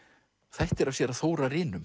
þættir af séra